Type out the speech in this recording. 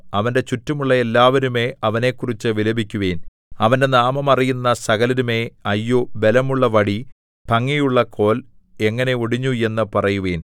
അവന്റെ ചുറ്റുമുള്ള എല്ലാവരുമേ അവനെക്കുറിച്ചു വിലപിക്കുവിൻ അവന്റെ നാമം അറിയുന്ന സകലരുമേ അയ്യോ ബലമുള്ള വടി ഭംഗിയുള്ള കോൽ എങ്ങനെ ഒടിഞ്ഞു എന്നു പറയുവിൻ